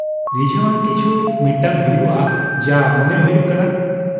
ᱨᱤᱡᱷᱟᱹᱣ ᱟᱱ ᱠᱤᱪᱷᱩ ᱢᱤᱫᱴᱟᱜ ᱦᱩᱭᱩᱜᱼᱟ ᱡᱟ ᱢᱚᱱᱮ ᱦᱩᱭᱩᱜ ᱠᱟᱱᱟ ᱾